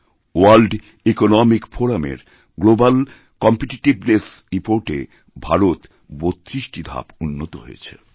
world Economic ফোরামএর Global কম্পিটিটিভ্নেসরিপোর্টএ ভারত ৩২টি ধাপ উন্নত হয়েছে